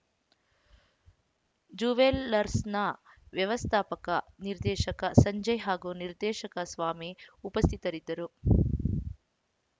ಜುವೆಲ್ಲರ್ಸ್‌ನ ವ್ಯವಸ್ಥಾಪಕ ನಿರ್ದೇಶಕ ಸಂಜಯ್‌ ಹಾಗೂ ನಿರ್ದೇಶಕ ಸ್ವಾಮಿ ಉಪಸ್ಥಿತರಿದ್ದರು